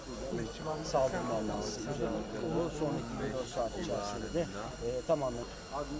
Yəni sağollaşın, sonraki bir neçə saat içərisində tamamlansın.